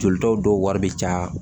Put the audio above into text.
Jolitaw dɔw wari bɛ caya